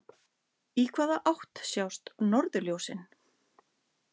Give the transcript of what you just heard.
Í hvaða átt sjást norðurljósin?